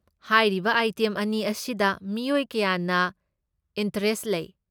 ꯍꯥꯏꯔꯤꯕ ꯑꯥꯏꯇꯦꯝ ꯑꯅꯤ ꯑꯁꯤꯗ ꯃꯤꯑꯣꯏ ꯀꯌꯥꯅ ꯏꯟꯇꯔꯦꯁꯠ ꯂꯩ꯫